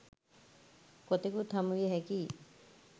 කොතෙකුත් හමු විය හැකියි.